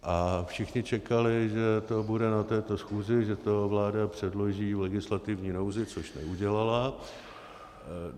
A všichni čekali, že to bude na této schůzi, že to vláda předloží v legislativní nouzi, což neudělala.